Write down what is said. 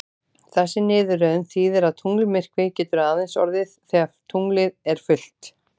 Þessi niðurröðun þýðir að tunglmyrkvi getur aðeins orðið þegar tunglið er fullt.